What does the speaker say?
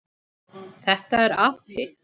Þetta er api.